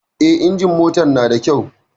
Eh, injimin motar na da kyau